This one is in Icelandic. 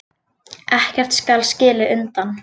Ekkert skal skilið undan.